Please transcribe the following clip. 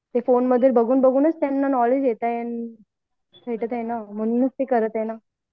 फोनमध्ये बघून बघून त्यांना नॉलेज येत आहे भेटत आहे म्हणून याच ते करत आहे ना